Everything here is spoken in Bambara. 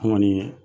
An kɔni